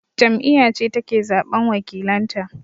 Jam'iyya ce take zaɓan wakilanta